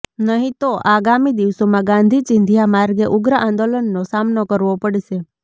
નહીં તો આગામી દિવસોમાં ગાંધી ચિંધ્યા માર્ગે ઉગ્ર આંદોલનનો સામનો કરવો પડશે